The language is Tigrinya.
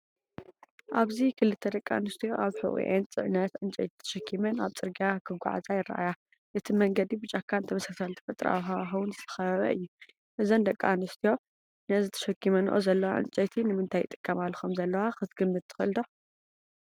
ኣብዚ ክልተ ደቂ ኣንስትዮ ኣብ ሕቖአን ጽዕነት ዕንጨይቲ ተሸኪመን ኣብ ጽርግያ ክጓዓዛ ይረኣያ። እቲ መንገዲ ብጫካን ተመሳሳሊ ተፈጥሮኣዊ ሃዋህውን ዝተኸበበ እዩ። እዘን ደቂ ኣንስትዮ ነዚ ተሸኪመንኦ ዘለዋ ዕንጨይቲ ንምንታይ ይጥቀማሉ ከምዘለዋ ክትግምት ትኽእል ዲኻ?